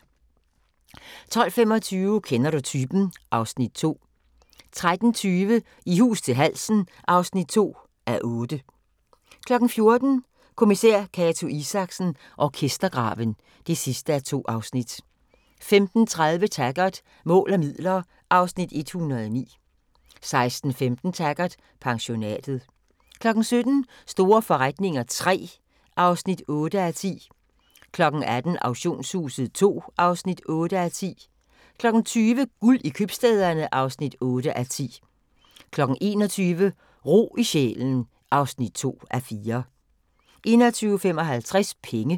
12:25: Kender du typen? (Afs. 2) 13:20: I hus til halsen (2:8) 14:00: Kommissær Cato Isaksen: Orkestergraven (2:2) 15:30: Taggart: Mål og midler (Afs. 109) 16:15: Taggart: Pensionatet 17:00: Store forretninger III (8:10) 18:00: Auktionshuset II (8:10) 20:00: Guld i købstæderne (8:10) 21:00: Ro i sjælen (2:4) 21:55: Penge